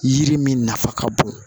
Yiri min nafa ka bon